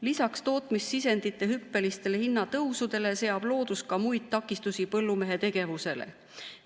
Lisaks tootmissisendite hüppelisele hinnatõusule seab loodus ka muid takistusi põllumehe tegevusele.